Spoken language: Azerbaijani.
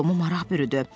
Tomu maraq bürüdü.